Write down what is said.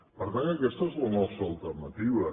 per tant aquesta és la nostra alternativa